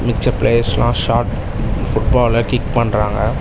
மிச்ச பிளேயர்ஸ்ல ஷாட் ஃபுட் பால கிக் பண்றாங்க.